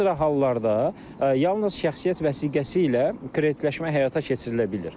Bir sıra hallarda yalnız şəxsiyyət vəsiqəsi ilə kreditləşmə həyata keçirilə bilir.